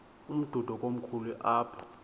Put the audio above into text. umdudo komkhulu apha